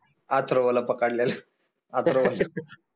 अथर्वला पकडलेल